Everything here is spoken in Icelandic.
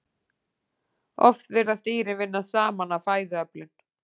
Oft virðast dýrin vinna saman að fæðuöflun.